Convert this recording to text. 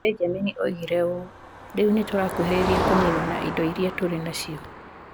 Benjamin oigire ũũ: "Rĩu nĩ tũrakuhĩrĩria kũniinwo kwa indo iria tũrĩ nacio".